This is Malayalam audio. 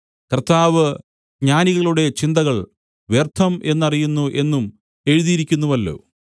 കർത്താവ് ജ്ഞാനികളുടെ ചിന്തകൾ വ്യർത്ഥം എന്നറിയുന്നു എന്നും എഴുതിയിരിക്കുന്നുവല്ലോ